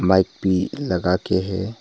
Mic भी लगा के है।